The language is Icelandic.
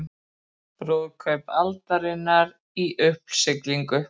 Brúðkaup aldarinnar í uppsiglingu